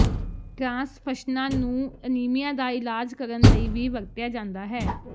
ਟ੍ਰਾਂਸਫਸ਼ਨਾਂ ਨੂੰ ਅਨੀਮੀਆ ਦਾ ਇਲਾਜ ਕਰਨ ਲਈ ਵੀ ਵਰਤਿਆ ਜਾਂਦਾ ਹੈ